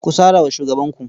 Ku sara wa shugabanku.